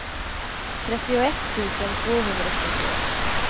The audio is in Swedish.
trettioett tusen tvåhundratrettioett